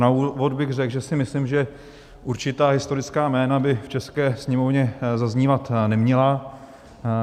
Na úvod bych řekl, že si myslím, že určitá historická jména by v české Sněmovně zaznívat neměla.